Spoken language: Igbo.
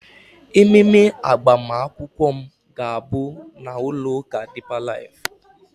ememe agbamakwụkwọ m ga-abụ na ụlọ ụka deeper life